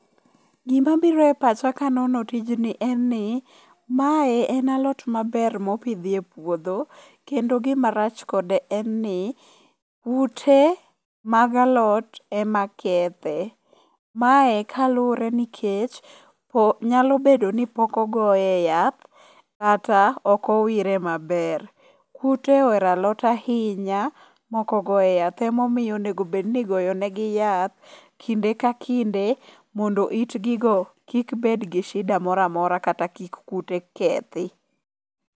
Gima biro e pacha ka anono tijni en ni, ma en alot maber maopidh ga epuodho kendo gima rach kode en ni kute mag alot emakethe. Mae kaluwore ni nikech nyalobedo ni pok ogoye yath kata okowire maber. Kute ohero alot ahinya maok ogoye yath omiyo onego bed ni igoye ne gi yath kinde ka kinde mondo itgi go kik bed gi shida moramora kata kik kute kethi.